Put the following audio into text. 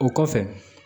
O kɔfɛ